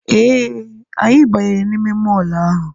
Ee, Anyị banyere n'ime mọl ahụ